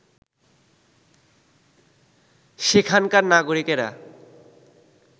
সেখানকার নাগরিকেরা